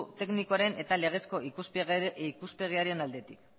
teknikoaren eta legezko ikuspegiaren aldetik